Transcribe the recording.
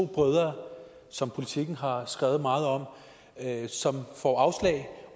brødre som politiken har skrevet meget om som får afslag